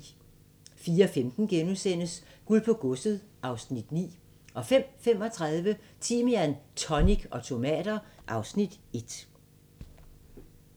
04:15: Guld på Godset (Afs. 9)* 05:35: Timian, tonic og tomater (Afs. 1)